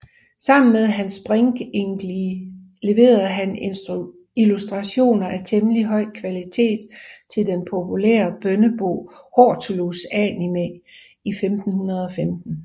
Sammen med Hans Springinklee leverede han illustrationer af temmelig høj kvalitet til den populære bønnebog Hortulus Animae i 1515